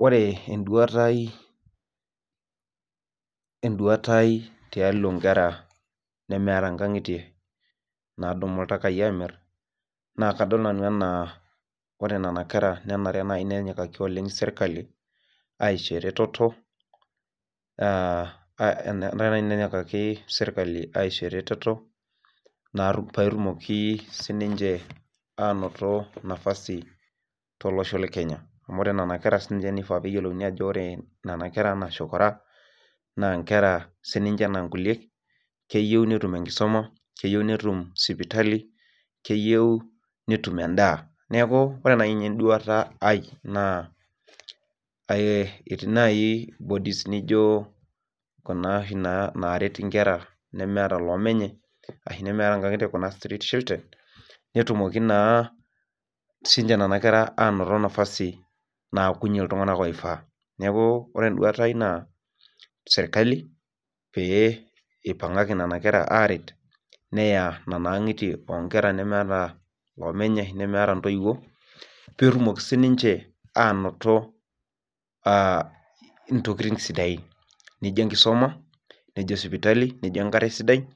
Ore enduata aai tialo nkera nemeeta nkangitie nanap iltaka na kadol ana keyieu nenyikaki oleng serkali aisho eretoto kayieu nai ake nishori elototo paitumoki sinche ainoto nafasi tolosho lekenya amu ore nona kera na kisha peyiolouni ajo nona kera anaa nchokora na nkera sinche ana nkulie keyieu netum enkisuma keyieu netum sipitali keyieu netum endaa neaku ore nai enduata aai etii nai bodies nijo kuna oshi naret nkera nemeeta loomenye ashu kuna street children netumoki na sinche nona kera atumie nafasi naakunye ltunganak oifaa neaku ore enduata aai na serkali peyie ipangaki nona kera aret neya nona angitie onkera nemeeta ntoiwuo petumoki sininche ainoto ntokitin sidain nijo enkisuma nijo sipitali nijo enkare sidai